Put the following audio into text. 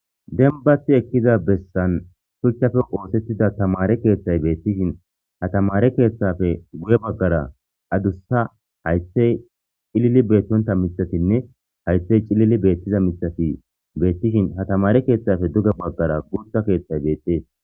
Dembati utida bessan shuchappe osetidi tamare kethayi betishin ha tamare ketheppe guye bagara adusa hayithayi ci,lili utida mitatinne hayithayi ci,lili utishin ha tamare ketheppe duge bagara gutha kethayi betees